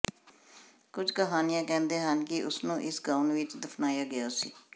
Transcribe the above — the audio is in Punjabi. ਕੁਝ ਕਹਾਣੀਆਂ ਕਹਿੰਦੇ ਹਨ ਕਿ ਉਸਨੂੰ ਇਸ ਗਾਊਨ ਵਿੱਚ ਦਫਨਾਇਆ ਗਿਆ ਸੀ